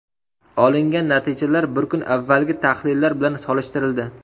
Olingan natijalar bir kun avvalgi tahlillar bilan solishtirildi.